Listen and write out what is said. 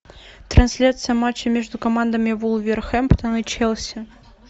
трансляция матча между командами вулверхэмптон и челси